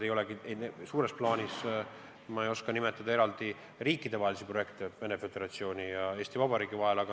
Suures plaanis ma ei oska nimetada eraldi selleteemalisi riikidevahelisi projekte Venemaa Föderatsiooni ja Eesti Vabariigi vahel.